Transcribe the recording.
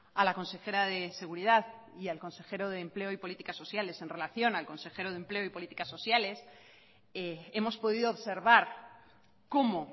a la consejera de seguridad y al consejero de empleo y políticas sociales en relación al consejero de empleo y políticas sociales hemos podido observar cómo